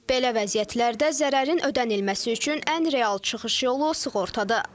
Belə vəziyyətlərdə zərərin ödənilməsi üçün ən real çıxış yolu sığortadır.